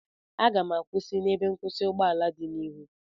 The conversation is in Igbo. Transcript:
Aga m akwụsị n'ebe nkwụsị ụgbọala dị n'ihu